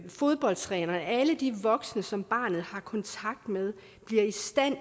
fodboldtrænere alle de voksne som barnet har kontakt med bliver i stand